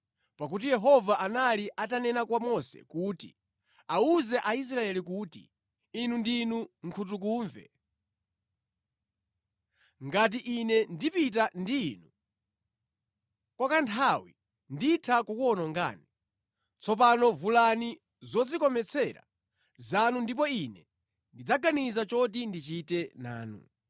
Pakuti Yehova anali atanena kwa Mose kuti, “Awuze Aisraeli kuti, ‘Inu ndinu nkhutukumve.’ Ngati ine ndipita ndi inu kwa kanthawi, nditha kukuwonongani. Tsopano vulani zodzikometsera zanu ndipo ine ndidzaganiza choti ndichite nanu.”